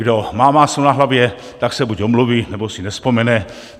Kdo má máslo na hlavě, tak se buď omluví, nebo si nevzpomene.